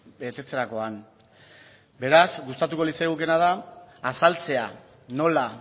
betetzerakoan beraz gustatuko litzaigukeena da azaltzea nola